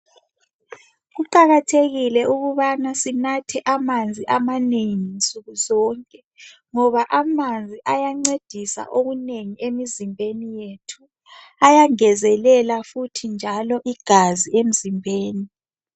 Kuqakathekile ukubana sinathe amanzi amanengi nsukuzonke ngoba amanzi ayancedisa okunengi emzimbeni yethu. Ayangenzelela futhi njalo igazi emzimbeni.